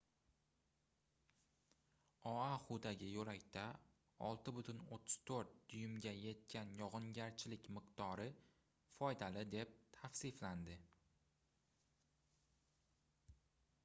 oaxudagi yoʻlakda 6,34 duymga yetgan yogʻingarchilik miqdori foydali deb tavsiflandi